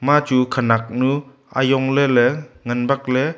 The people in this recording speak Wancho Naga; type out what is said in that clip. ema chu khunaknu ajong ley ley ngan bak ley.